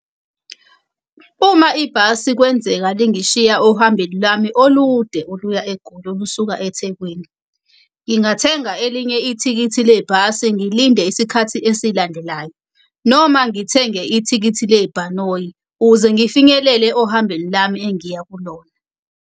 Uma ibhasi kwenzeka lingishiya ohambeni lami olude oluya eGoli, olusuka eThekwini. Ngingathenga elinye ithikithi lebhasi, ngilinde isikhathi esilandelayo. Noma ngithenge ithikithi lebhanoyi ukuze ngifinyelele ohambeni lami engiya kulona.